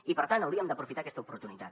i per tant hauríem d’aprofitar aquesta oportunitat